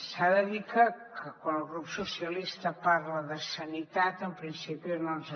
s’ha de dir que quan el grup socialistes parla de sanitat en principi no ens